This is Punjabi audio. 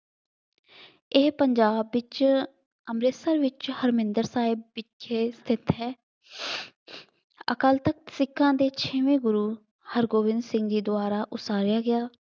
ਇਹ ਪੰਜਾਬ ਵਿੱਚ ਅੰਮ੍ਰਿਤਸਰ ਵਿੱਚ ਹਰਮੰਦਿਰ ਸਾਹਿਬ ਵਿਖੇ ਸਥਿਤ ਹੈ। ਅਕਾਲ ਤਖਤ ਸਿੱਖਾਂ ਦੇ ਛੇਵੇਂ ਗੁਰੂ ਹਰਗੋਬਿੰਦ ਸਿੰਘ ਜੀ ਦੁਆਰਾ ਉਸਾਰਿਆ ਗਿਆ।